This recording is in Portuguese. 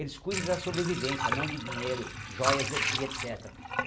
Eles cuida da sobrevivência, não de dinheiro, joias e et e et cétera.